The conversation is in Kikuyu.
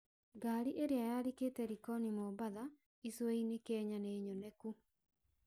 Ngari ĩria yarikĩte Likoni Mombasa icuainĩ Kenya nĩnyonekanu